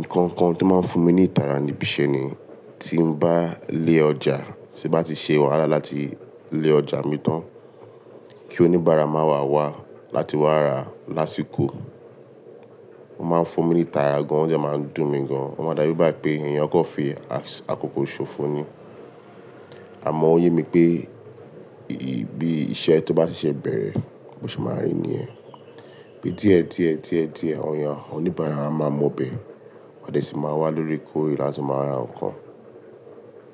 Nǹkan kan tí ó máa ń fún mi ní ìtara ni bí iṣẹ́ ni tí mo bá lé ọjà, tí n bá ti ṣe wàhálà láti lé ọjà mi tán, kí oníbàárà máa wá wá láti wá ra lásìkò. Ó máa ń fún mi ní ìtara gan, o dẹ máa ń dùn mi gan, o máa da bi igba pé èèyàn kan fi àkókò ṣòfò ní. Àmọ́ ó yé mi pé bí iṣẹ́ tó bá ṣẹ̀ṣẹ̀ bẹ̀rẹ̀, bo ṣe máa n rí níyẹn. Bí díẹ̀ díẹ̀ díẹ̀ díẹ̀, awon oníbàárà wa máa mọ bẹ̀, wọ́n a sì máa wá loorekoore láti máa ra nǹkan.